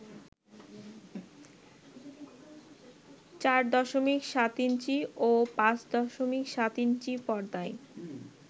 ৪.৭ inch ও ৫.৭ inch পর্দার